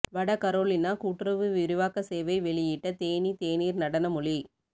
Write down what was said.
வட கரோலினா கூட்டுறவு விரிவாக்க சேவை வெளியிட்ட தேனி தேனீர் நடன மொழி